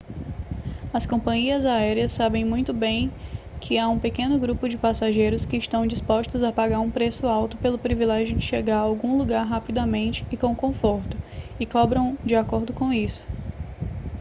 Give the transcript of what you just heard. as companhias aéreas sabem muito bem que há um pequeno grupo de passageiros que estão dispostos a pagar um preço alto pelo privilégio de chegar a algum lugar rapidamente e com conforto e cobram de acordo com isso